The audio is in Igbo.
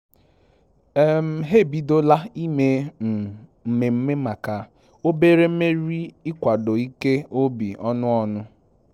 Ha ebidola ime mmemme maka obere mmeri ikwado ike obi ọnụ ọnụ